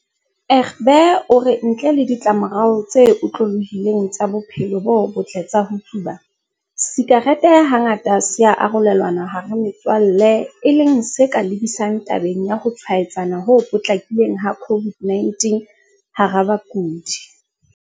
Egbe o re ntle le ditlamorao tse otlolohileng tsa bophelo bo botle tsa ho tsuba, sakerete hangata se ya arolelanwa hara metswalle e leng se ka lebisang tabeng ya ho tshwaetsana ho potlakileng ha COVID-19 hara badudi.